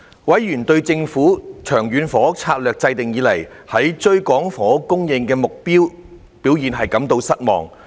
委員對政府自《長遠房屋策略》制訂以來，在追趕房屋供應目標的表現感到失望。